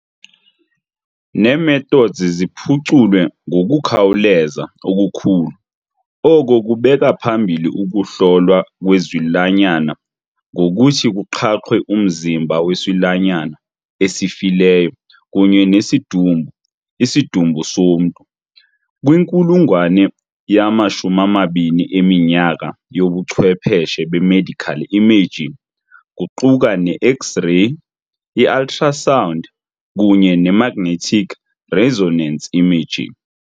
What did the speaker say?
Nee-methods ziphuculwe ngokukhawuleza okukhulu, oko kubeka phambili ukuhlolwa kwezilwanyana ngokuthi kuqhaqhwe umzimba wesilwanyana esifileyo kunye nesidumbu, isidumbu somntu, kwinkulungwane yama-20 eminyaka yobuchwepheshe be-medical imaging kuquka ne- X-ray, i-ultrasound, kunye nemagnetic resonance imaging.